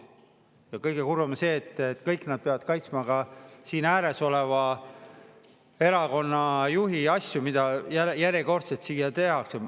Ja kõige kurvem on see, et kõik nad peavad kaitsma ka siin ääres oleva erakonna juhi asju, mida järjekordselt siin tehakse.